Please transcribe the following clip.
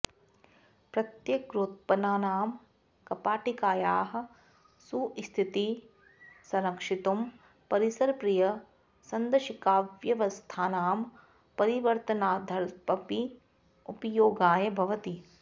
प्रत्यग्रोत्पन्नानां कपाटिकायाः सुस्थितिं संरक्षितुं परिसरप्रियसन्दंशिकाव्यवस्थानां परिवर्तनार्थमपि उपयोगाय भवति